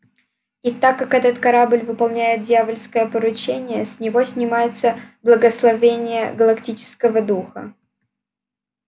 и так как этот корабль выполняет дьявольское поручение с него снимается благословение галактического духа